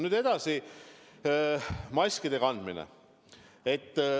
Nüüd edasi, maskide kandmine.